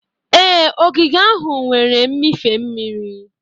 Ee, ogige ahụ nwere mmịfe mmiri.